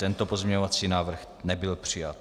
Tento pozměňovací návrh nebyl přijat.